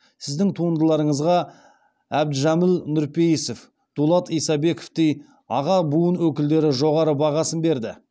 сіздің туындыларыңызға әбдіжәміл нұрпейісов дулат исабековтей аға буын өкілдері жоғары бағасын берді